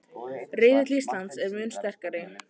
Riðill Íslands er mun sterkari